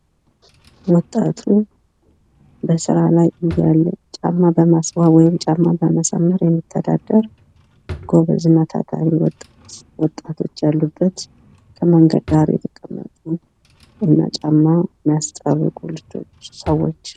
ወጣቱ በስራ ላይ እያለ ጫማ በማስዋብ ወይም ጫማ በማሳመር የሚተዳደር ጎበዝና ታታሪ ወጣቶች ያሉበት ከመንገድ ዳር የተቀመጡ እና ጫማ የሚያስጠርጉ ሰዎች።